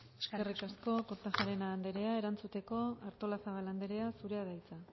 eskerrik asko eskerrik asko kortajarena anderea erantzuteko artolazabal anderea zurea da hitza